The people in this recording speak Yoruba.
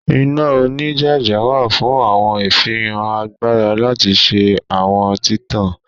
Ina onijaja wa fun awọn ifihan agbara lati ṣe awọn titan